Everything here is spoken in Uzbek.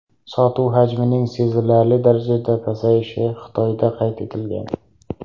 Sotuv hajmining sezilarli darajada pasayishi Xitoyda qayd etilgan.